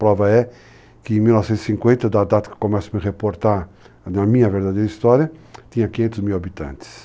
Prova é que, em 1950, da data que eu começo a me reportar na minha verdadeira história, tinha 500 mil habitantes.